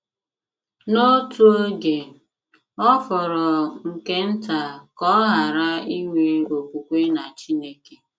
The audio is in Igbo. N'otu oge, ọ fọrọ nke nta ka ọ ghara inwe okwukwe na Chineke.